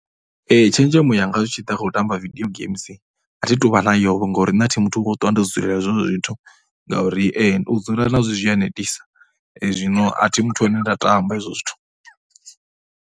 Tshenzhemo yanga zwi tshi ḓa kha u tamba video games a thi tou vha nayovho ngauri nṋe thi muthu wa u ṱwa ndo dzulela zwezwo zwithu. Ngauri u dzula nazwo zwi a netisa zwino a thi muthu ane a tamba hezwo zwithu.